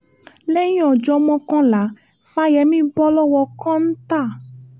lẹ́yìn ọjọ́ mọ́kànlá fáyemí bọ́ lọ́wọ́ kọ́ńtò